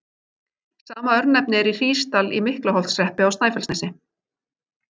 Sama örnefni er í Hrísdal í Miklaholtshreppi á Snæfellsnesi.